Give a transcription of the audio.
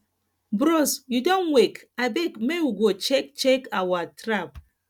bros you don wake abeg make we go check check our trap